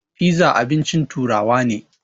Fiza abincin turawa ne